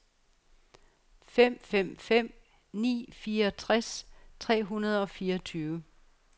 fem fem fem ni fireogtres tre hundrede og fireogtyve